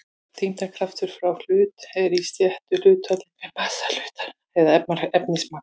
þyngdarkraftur frá hlut er í réttu hlutfalli við massa hlutarins eða efnismagn